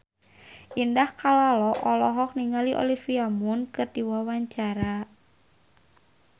Indah Kalalo olohok ningali Olivia Munn keur diwawancara